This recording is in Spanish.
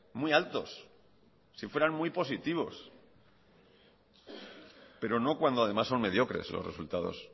muy altos si fueran muy positivos pero no cuando además son mediocres los resultados